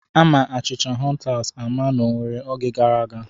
Ama achịcha hụntas ama n'Owere oge gara aga.